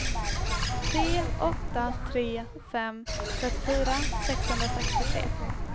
tre åtta tre fem trettiofyra sexhundrasextiotre